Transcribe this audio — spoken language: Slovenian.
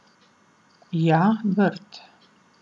Ja, vrt.